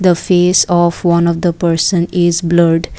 the face of one of the person is blurred.